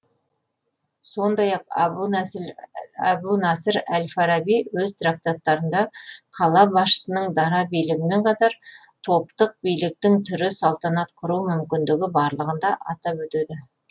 сондай ақ әбу насыр әл фараби өз трактаттарында қала басшысының дара билігімен қатар топтық биліктің түрі салтанат құру мүмкіндігі барлығын да атап өтеді